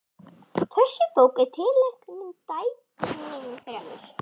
Þessi bók er tileinkuð dætrum mínum þremur.